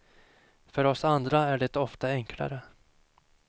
För oss andra är det ofta enklare.